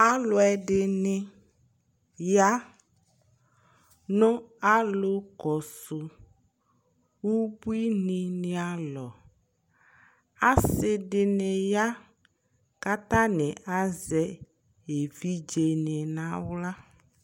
Alʋ ɛdini ya nʋ alʋ kɔsʋ ʋbuini ni alɔ asi dini ya kʋ atani azɛ evidzeni nʋ aɣla